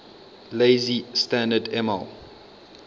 lazy standard ml